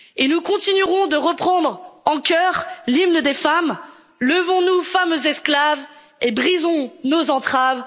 due. Et nous continuerons de reprendre en chœur l'hymne des femmes Levons nous, femmes esclaves, et brisons nos entraves.